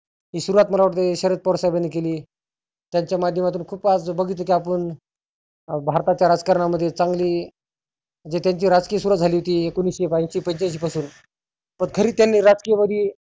हि सुरुवात मला वाटतं शरद पवार साहेबांनी केली. त्यांच्या माध्यमातुन खुप आज बघितलं की आपण भारताच्या राजकारणामध्ये चांगली म्हणजे त्यांची राजकीय सुरुवात झाली होती एकोनिसशे बेऐंशी पंच्यांशी पासुन पण खरी त्यांनी राजकीय वादी